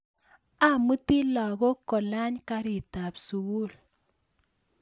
Amuti lakok kolany karitab sukul